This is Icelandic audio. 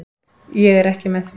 Ég er ekki með því.